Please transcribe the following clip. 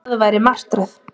Það væri martröð.